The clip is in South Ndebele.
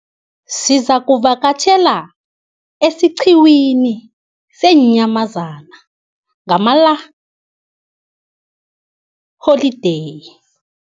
Sizakuvakatjhela esiqhiwini seenyamazana ngalamaholideyi.